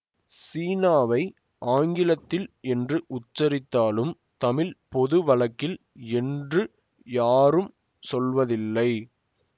சீனாவை ஆங்கிலத்தில் என்று உச்சரித்தாலும் தமிழ் பொது வழக்கில் என்று யாரும் சொல்வதில்லை